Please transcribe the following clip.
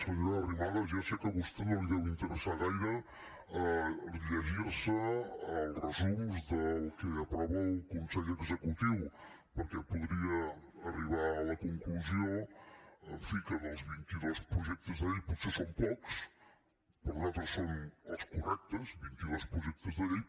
senyora arrimadas ja sé que a vostè no li deu interessar gaire llegir se els resums del que aprova el consell executiu perquè podria arribar a la conclusió en fi que dels vint i dos projectes de llei potser són pocs per nosaltres són els correctes vint i dos projectes de llei